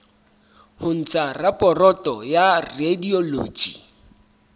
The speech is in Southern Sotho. ho ntsha raporoto ya radiology